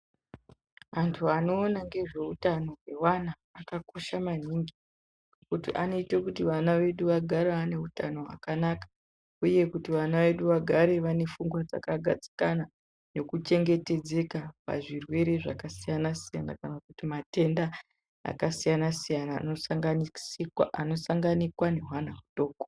Antu anoona ngezveutano hweana akakosha maningi ngekuti anoita kuti vana vedu vagare vane utano hwakanaka uye kuti vana vedu vagare vane fungwa dzakagadzikana Nekuchengetedzeka pazvirwere zvakasiyana siyana kana kuti matenda akasiyana siyana anosanganisikwa anosangana nehwana hudoko.